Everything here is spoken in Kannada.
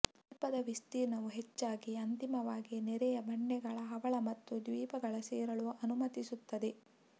ದ್ವೀಪದ ವಿಸ್ತೀರ್ಣವು ಹೆಚ್ಚಾಗಿ ಅಂತಿಮವಾಗಿ ನೆರೆಯ ಬಂಡೆಗಳ ಹವಳ ಮತ್ತು ದ್ವೀಪಗಳ ಸೇರಲು ಅನುಮತಿಸುತ್ತದೆ